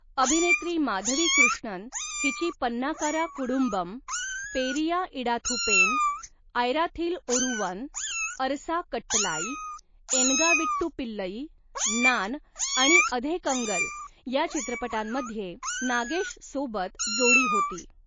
अभिनेत्री माधवी कृष्णन हिची 'पन्नाकारा कुडुंबम', 'पेरिया इडाथू पेन', 'आयराथिल ओरुवन', 'अरसा कट्टलाई', 'एनगा वीट्टू पिल्लई', 'नान' आणि 'अधे कंगल' या चित्रपटांमध्ये नागेशसोबत जोडी होती.